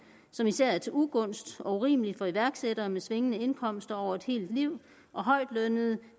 som især er til ugunst og urimelig for iværksættere med svingende indkomster over et helt liv og højtlønnede